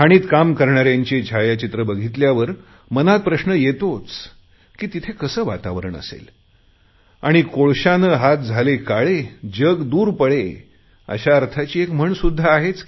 खाणीत काम करणाऱ्यांची छायाचित्र बघितल्यावर मनात प्रश्न येतोच की तिथे कसे वातावरण असेल आणि कोळशाने हात झाले काळे जग दूर पळे अशा अर्थाची एक म्हणसुध्दा आहे